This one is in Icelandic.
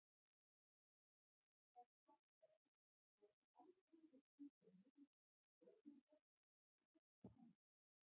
Ef það tekst ekki fæst aldrei upp í svo mikið sem fóðurkostnað, hvað þá annað.